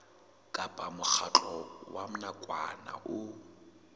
kapa mokgatlo wa nakwana o